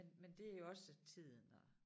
Men men det jo også tiden og